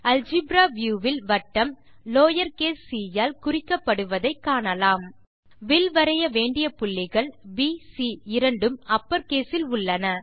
algebra view வில் வட்டம் lower case C ஆல் குறிக்கப்படுவதை காணலாம் வில் வரைய வேண்டிய புள்ளிகள் bசி இரண்டும் அப்பர் கேஸ் இல் உள்ளன